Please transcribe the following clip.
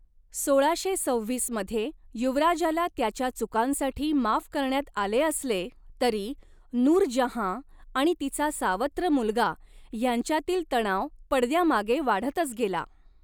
सोळाशे सव्हीस मध्ये युवराजाला त्याच्या चुकांसाठी माफ करण्यात आले असले तरी, नूरजहाँ आणि तिचा सावत्र मुलगा ह्यांच्यातील तणाव पडद्यामागे वाढतच गेला.